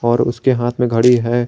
और उसके हाथ में घड़ी है।